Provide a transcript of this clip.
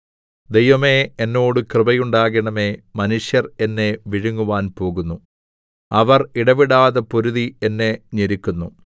ദൈവമേ എന്നോട് കൃപയുണ്ടാകണമേ മനുഷ്യർ എന്നെ വിഴുങ്ങുവാൻ പോകുന്നു അവർ ഇടവിടാതെ പൊരുതി എന്നെ ഞെരുക്കുന്നു